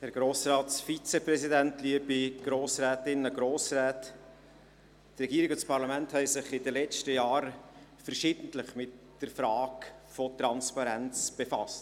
Die Regierung und das Parlament haben sich in den letzten Jahren verschiedentlich mit der Frage der Transparenz befasst.